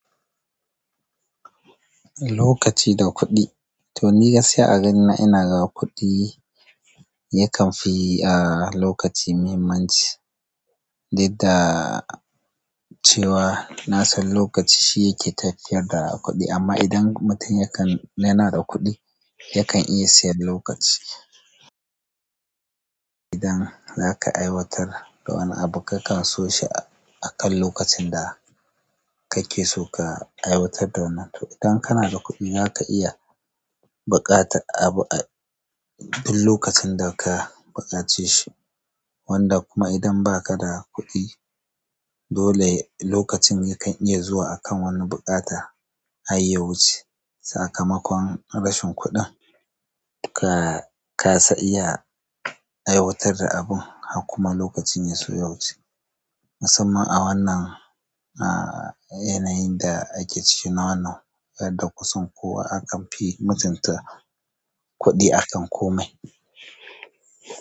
Lokaci da kuɗi. To ni gaskiya a ganina ina ga kuɗi yakan fi a lokaci muhimmanci, did da cewa nasan lokaci shi yake tafiyar da kuɗi amma idan mutum yakan yana da kuɗi yakan iya siyan lokaci idan zaka aiwatar da wani abu kakan so shi akan lokacin da kake so ka aiwatar da wannan to idan kana da kuɗi zaka iya buƙatar abu abuk lokacin da ka buƙace shi wanda kuma idan ba ka da kuɗi dole lokacin yakan zuwa akan wani buƙata har ya wuce sakamakon rashin kuɗin ka kasa iya aiwatar da abun har kuma lokacin ya so ya wuce. Musamman a wannan a-a-a yanayin da ake ciki na wannan yadda kusan kowa akan fi mutum ta kuɗi akan komai.